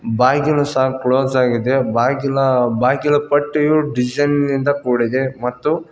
ಬಾಗಿಲು ಸಹ ಕ್ಲೋಸ್ ಆಗಿದೆ ಬಾಗಿಲ ಬಾಗಿಲು ಪಟ್ಟಿಯು ಡಿಸೈನ್ ನಿಂದ ಕೂಡಿದೆ ಮತ್ತು.